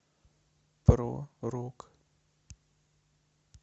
про рок